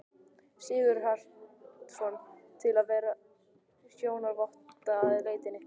Sigurhjartarson, til að vera sjónarvotta að leitinni.